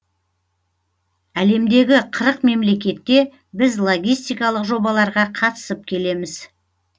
әлемдегі қырық мемлекетте біз логистикалық жобаларға қатысып келеміз